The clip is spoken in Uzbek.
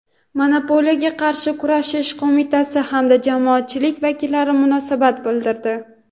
Monopoliyaga qarshi kurashish qo‘mitasi hamda jamoatchilik vakillari munosabat bildirdi.